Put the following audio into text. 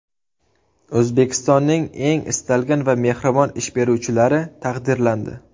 O‘zbekistonning eng istalgan va mehribon ish beruvchilari taqdirlandi.